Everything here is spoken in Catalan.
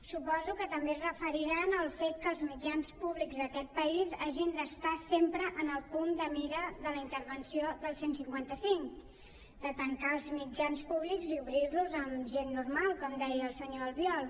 suposo que també es deuen referir al fet que els mitjans públics d’aquest país hagin d’estar sempre en el punt de mira de la intervenció del cent i cinquanta cinc de tancar els mitjans públics i obrir los amb gent normal com deia el senyor albiol